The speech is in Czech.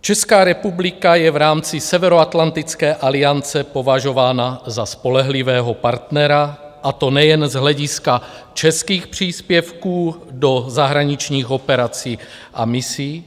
Česká republika je v rámci Severoatlantické aliance považována za spolehlivého partnera, a to nejen z hlediska českých příspěvků do zahraničních operací a misí,